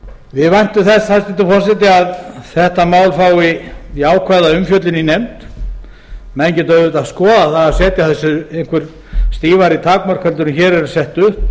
við væntum þess hæstvirtur forseti að þetta mál fái jákvæða umfjöllun í nefnd menn geta auðvitað skoðað það að setja þessu einhver stífari takmörk en hér eru sett upp